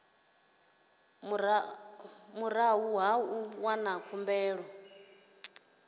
murahu ha u wana khumbelo